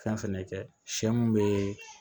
Fɛn fɛnɛ kɛ sɛ mun be